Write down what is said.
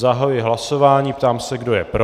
Zahajuji hlasování, ptám se, kdo je pro.